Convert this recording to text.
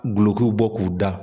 Glɔkiw bɔ k'u da.